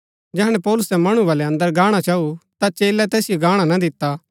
जैहणै पौलुसै मणु बलै अंदर गाणा चाऊ ता चेलै तैसिओ गाणा ना दिता